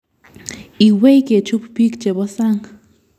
Iwei kechub biik chebo sang